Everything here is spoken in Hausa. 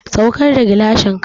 Saukar da gilashin ka!